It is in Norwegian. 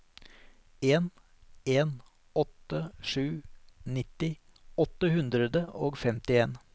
en en åtte sju nitti åtte hundre og femtien